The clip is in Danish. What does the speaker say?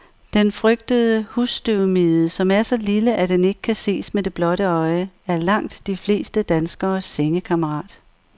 Den frygtede husstøvmide, som er så lille, at den ikke kan ses med det blotte øje, er langt de fleste danskeres sengekammerat.